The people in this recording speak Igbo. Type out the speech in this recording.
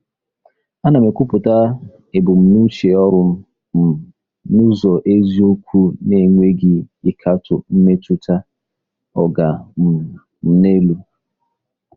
Ana m ekwupụta ebumnuche ọrụ m um n'ụzọ eziokwu na-enweghị ịkatọ mmetụta “oga um m n'elu.”